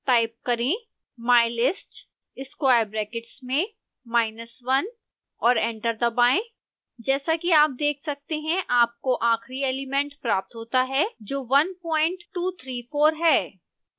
type करें mylist square brackets में minus one और एंटर दबाएं जैसा कि आप देख सकते हैं आपको आखिरी एलिमेंट प्राप्त होता है जो one point two three four है